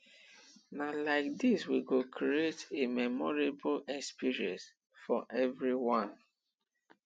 na like dis we go create a memorable experience for everyone